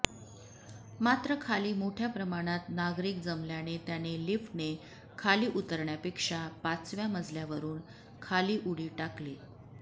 मात्र खाली मोठ्या प्रमाणात नागरिक जमल्याने त्याने लिफ्टने खाली उतरण्यापेक्षा पाचव्या मजल्यावरुन खाली उडी टाकली